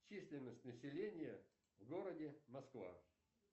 численность населения в городе москва